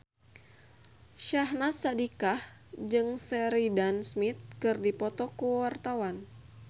Syahnaz Sadiqah jeung Sheridan Smith keur dipoto ku wartawan